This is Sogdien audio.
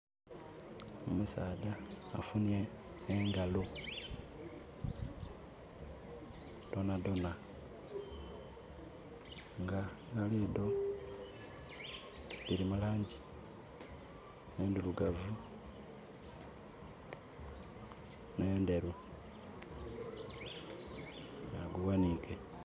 Omusaadha afunhye engalo dhonadhona nga engalo edho dhili mulangi endhirugavu n'endheru, agughanhike.